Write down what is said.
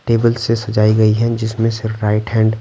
table से सजाई गई है जिसमें से राइट हैंड --